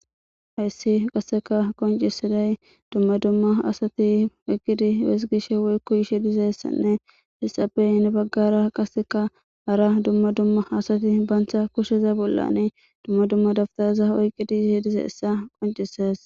Haysi qaseka qoncisiday dumma dumma asati oyqidi hizigishe woykon yizaysanne hesappe heni bagara qaseka hara dumma dumma asati banta kusheza bollani dumma dumma dawutareta oykidi dizaysa qoncisise.